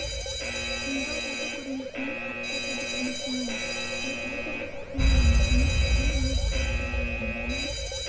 сенегал жағы көрмесіне қатысады деп үміттенеміз біз өзара іс-қимылды мәдениет білім және спорт салаларында да